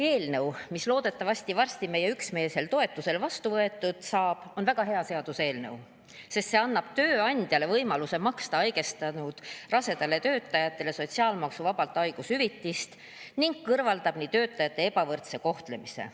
Eelnõu, mis loodetavasti varsti meie üksmeelsel toetusel vastu võetud saab, on väga hea seaduseelnõu, sest see annab tööandjale võimaluse maksta haigestunud rasedale töötajale sotsiaalmaksuvabalt haigushüvitist ning kõrvaldab nii töötajate ebavõrdse kohtlemise.